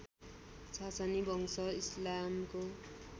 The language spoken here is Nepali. सासनी वंश इस्लामको